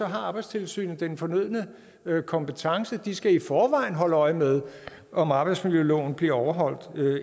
har arbejdstilsynet den fornødne kompetence de skal i forvejen holde øje med om arbejdsmiljøloven bliver overholdt